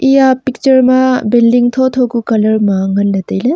eya picture ma building thotho ku colour ma nganle taile.